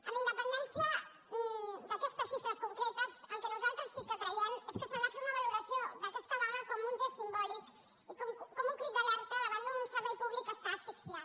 amb independència d’aquestes xifres concretes el que nosaltres sí que creiem és que s’ha de fer una valoració d’aquesta vaga com un gest simbòlic i com un crit d’alerta davant d’un servei públic que està asfixiat